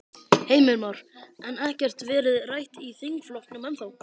Heimir Már: En ekkert verið rætt í þingflokknum ennþá?